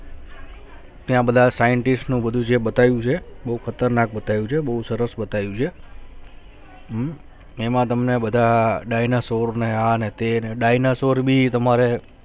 ને આ બધા scientist નુ બદ્દુ જે બતાવ્યું છે બહુ ખતરનાક બતાવ્યું છે બહુ સરસ બતાવ્યું છે હમ એમા તમને બધા ડાયનાસોર ને આ ને તે ને ડાયનાસોર ભી તમારે